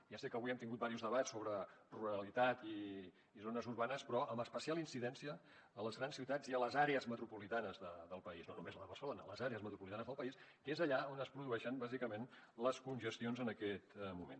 ja sé que avui hem tingut diversos debats sobre ruralitat i zones urbanes però amb especial incidència a les grans ciutats i a les àrees metropolitanes del país no només a la de barcelona a les àrees metropolitanes del país que és allà on es produeixen bàsicament les congestions en aquest moment